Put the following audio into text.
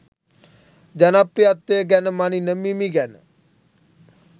ජනප්‍රියත්වය ගැන මණින මිමි ගැන